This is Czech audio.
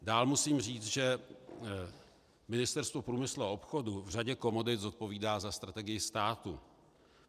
Dál musím říct, že Ministerstvo průmyslu a obchodu v řadě komodit zodpovídá za strategii státu.